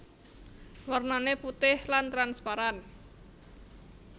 Warnane putih lan transparan